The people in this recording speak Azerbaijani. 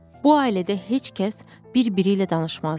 Bu ailədə heç kəs bir-biri ilə danışmazdı.